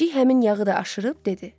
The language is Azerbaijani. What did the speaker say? Pişik həmin yağı da aşırıb dedi: